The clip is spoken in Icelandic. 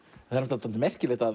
það er dálítið merkilegt að